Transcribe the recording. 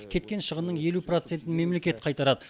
кеткен шығынның елу процентін мемлекет қайтарады